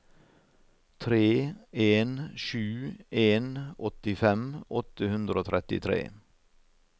tre en sju en åttifem åtte hundre og trettitre